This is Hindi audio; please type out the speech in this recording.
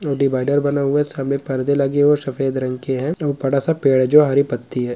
अ डिवाइडर बना हुआ है सामने परदे लगे हुए हैं सफेद रंग के है और बड़ा-सा पेड़ है जो हरी पत्ती है।